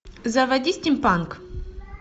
заводи стимпанк